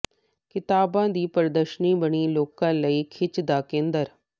ਕਿਤਾਬਾਂ ਦੀ ਪ੍ਰਦਰਸ਼ਨੀ ਬਣੀ ਲੋਕਾਂ ਲਈ ਖਿੱਚ ਦਾ ਕੇਂਦਰ